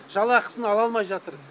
жалақысын ала алмай жатыр